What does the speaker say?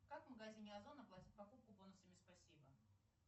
как в магазине озон оплатить покупку бонусами спасибо